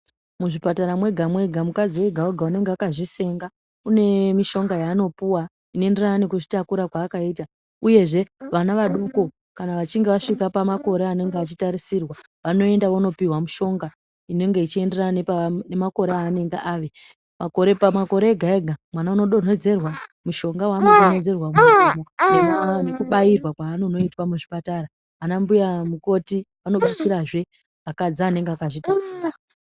Muzvipatara mwega mwega vakadzi ega ega unenga akazvisenga une mishonga yaanopuwa inoenderana nekuzvitakura kwaakaita uyezve vana vadoko kana vachinge vasvika pamakore anenge achitarisirwa vanoenda vonopihwa mushongainenge ichienderana nemakore aanenge ave pamakore ega ega mwana unodonhedzerwa mishonga waanodonhedzerwa mumuromo nekubairwa kwaanonoitwa muchipatara ana mbuya mukhoti vanobatsirazve akadzi anenge akazvitakura